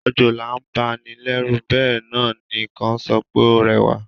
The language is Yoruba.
Òjòlá ma n ba ni lẹ́rù béè náà ni kan so pe ó rẹ́wà